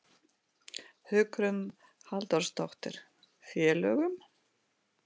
Hugrún Halldórsdóttir: Félögum?